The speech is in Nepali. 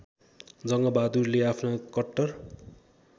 जङ्गबहादुरले आफ्ना कट्टर